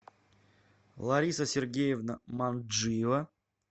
лариса сергеевна манджиева